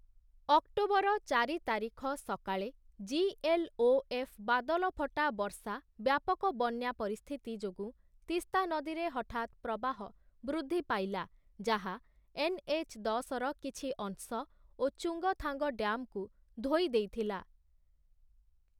October ଚାରି ତାରିଖ ସକାଳେ, ଜିଏଲ୍‌ଓଏଫ୍ ବାଦଲ ଫଟା ବର୍ଷା ବ୍ୟାପକ ବନ୍ୟା ପରିସ୍ଥିତି ଯୋଗୁଁ ତିସ୍ତା ନଦୀରେ ହଠାତ୍ ପ୍ରବାହ ବୃଦ୍ଧି ପାଇଲା, ଯାହା ଏନ୍‌ଏଚ୍ ଦଶର କିଛି ଅଂଶ ଓ ଚୁଙ୍ଗ୍‌ଥାଙ୍ଗ୍ ଡ୍ୟାମ୍‌କୁ ଧୋଇ ଦେଇଥିଲା ।